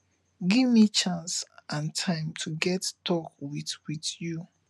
give me chance and time to get talk with with you